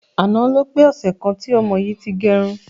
Àná ló pé ọsẹ̀ kan tí ọmọ yìí ti gẹrun.